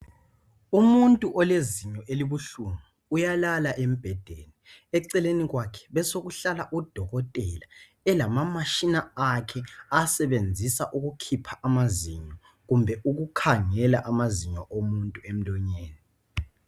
Umuntu olezinyo elibuhlungu uyalala embhedeni eceleni kwakhe besekuhlala odokotela elamamashina akhe awasebenzisa ukukhipha amazinyo kumbe ukukhangela amazinyo omuntu emlonyeni